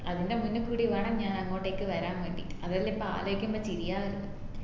അതിന്റെ മൂന്നുക്കൊടി വേണം ഞാൻ അങ്ങോട്ടേക് വരാൻ വേണ്ടി അതെല്ലിപ്പോം ആലോചിക്കുമ്പോ ചിരിയാ വരുന്നു